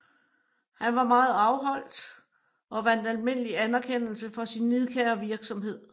Han var meget afholdt og vandt almindelig anerkendelse for sin nidkære virksomhed